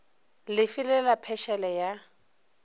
le fe la phešele ya